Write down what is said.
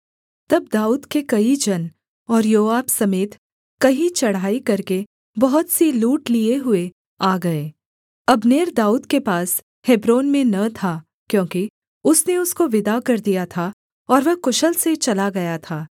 तब दाऊद के कई जन और योआब समेत कहीं चढ़ाई करके बहुत सी लूट लिये हुए आ गए अब्नेर दाऊद के पास हेब्रोन में न था क्योंकि उसने उसको विदा कर दिया था और वह कुशल से चला गया था